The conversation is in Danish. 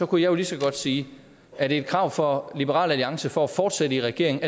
kunne jeg lige så godt sige at et krav fra liberal alliance for at fortsætte i regeringen